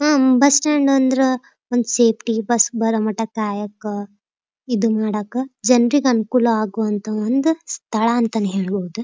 Am bus stand ಅಂದ್ರ ಒಂದ್ safety bus ಬಾರೋ ಮಟ್ಟ ಕಾಯಕ ಇದ್ ಮಾಡಾಕ ಜನರಿಗೆ ಅನುಕೂಲ ಆಗುವಂಥ ಸ್ಥಳ ಒಂದ್ ಅಂತಾನೆ ಹೇಳಬಹದು.